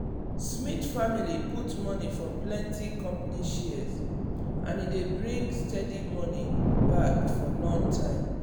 smith family put money for plenty company shares and e dey bring steady money back for long time.